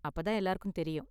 அப்ப தான் எல்லாருக்கும் தெரியும்.